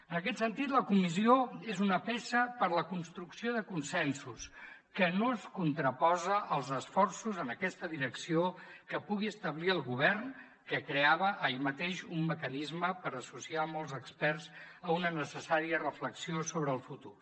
en aquest sentit la comissió és una peça per a la construcció de consensos que no es contraposa als esforços en aquesta direcció que pugui establir el govern que creava ahir mateix un mecanisme per associar molts experts a una necessària reflexió sobre el futur